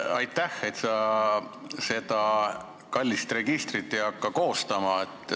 Aitäh, et sa seda kallist registrit ei hakka koostama.